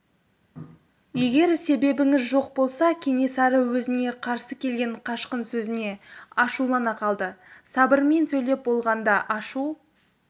егер себебіңіз жоқ болса кенесары өзіне қарсы келген қашқын сөзіне ашулана қалды сабырмен сөйлеп болғанда ашу